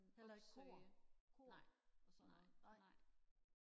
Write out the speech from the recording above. heller ikke kor kor og sådan noget nej